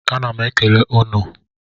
A ná m ekele unu o